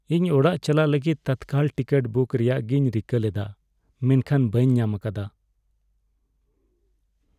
ᱤᱧ ᱚᱲᱟᱜ ᱪᱟᱞᱟᱜ ᱞᱟᱹᱜᱤᱫ ᱛᱚᱛᱠᱟᱞ ᱴᱤᱠᱤᱴ ᱵᱩᱠ ᱨᱮᱭᱟᱜᱤᱧ ᱨᱤᱠᱟᱹ ᱞᱮᱫᱟ ᱢᱮᱱᱠᱷᱟᱱ ᱵᱟᱹᱧ ᱧᱟᱢ ᱟᱠᱟᱫᱟ ᱾